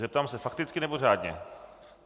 Zeptám se: fakticky, nebo řádně?